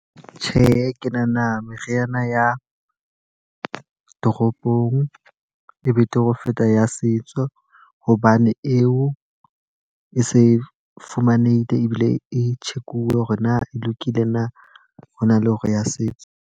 Tjhe, ke nahana meriana ya toropong e betere ho feta ya setso. Hobane eo e se fumanehile ebile e tjhekuwe hore na e lokile na hona le hore ya setso.